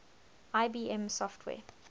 ibm software